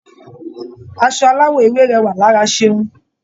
Aṣọ aláwọ̀ ewé rẹwà lára Ṣeun.